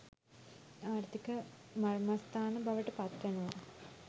ආර්ථික මර්මස්ථාන බවට පත්වෙනවා.